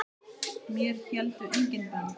Mér héldu engin bönd.